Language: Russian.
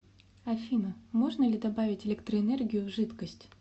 афина можно ли добавить электроэнергию в жидкость